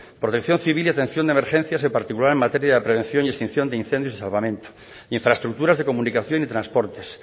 protección civil y atención de emergencias en particular en materia de prevención y extinción de incendios y salvamentos infraestructuras de comunicación y transportes